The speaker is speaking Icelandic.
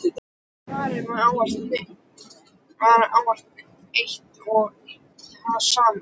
En svarið var áfram eitt og hið sama.